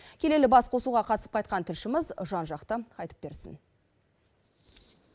келелі басқосуға қатысып қайтқан тілшіміз жан жақты айтып берсін